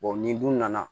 ni dun nana